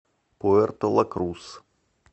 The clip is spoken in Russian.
пуэрто ла крус